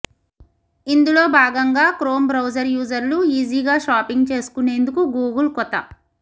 ఇందులో భాగంగా Chrome browser యూజర్లు ఈజీగా షాపింగ్ చేసుకునేందుకు గూగుల్ కొత